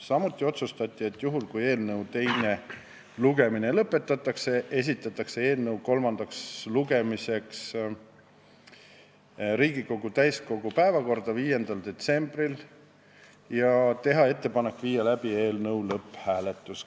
Samuti otsustati, et juhul kui eelnõu teine lugemine lõpetatakse, esitatakse eelnõu kolmandaks lugemiseks Riigikogu täiskogu päevakorda 5. detsembriks, ja tehti ettepanek viia siis läbi eelnõu lõpphääletus.